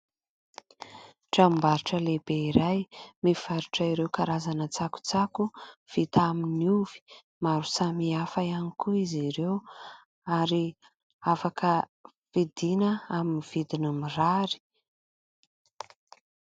Tranom-barotra lehibe iray mivarotra ireo karazana tsakotsako vita amin'ny ovy, maro samihafa ihany koa izy ireo ary afaka vidiana amin'ny vidiny mirary.